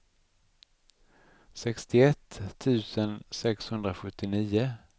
sextioett tusen sexhundrasjuttionio